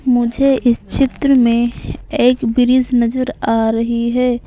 मुझे इस चित्र में एक ब्रिज नजर आ रही हैं ।